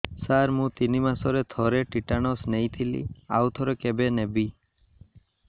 ସାର ମୁଁ ତିନି ମାସରେ ଥରେ ଟିଟାନସ ନେଇଥିଲି ଆଉ ଥରେ କେବେ ନେବି